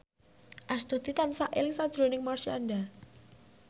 Astuti tansah eling sakjroning Marshanda